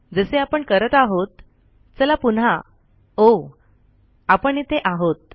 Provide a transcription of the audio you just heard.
जसे आपण करत आहोत चला पुन्हा ओहो आपण इथे आहोत